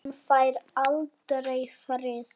Hann fær aldrei frið.